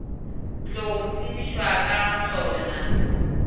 tlogo tsebišwa ka ga sona